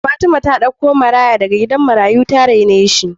Fatima ta ɗauko maraya daga gidan marayu ta raine shi